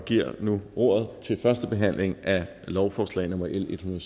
giver nu ordet til første behandling af lovforslag nummer l en